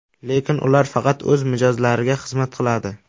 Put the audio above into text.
Lekin ular faqat o‘z mijozlariga xizmat qiladi.